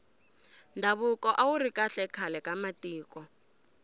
ndhavuko awuri kahle khale ka matiko